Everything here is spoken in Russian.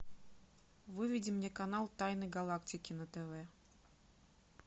выведи мне канал тайны галактики на тв